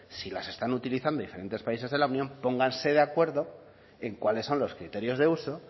si las están utilizando diferentes países de la unión pónganse de acuerdo en cuáles son los criterios de uso